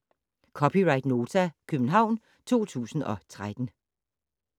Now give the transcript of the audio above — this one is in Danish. (c) Nota, København 2013